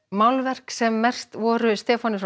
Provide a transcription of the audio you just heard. málverk sem merkt voru Stefáni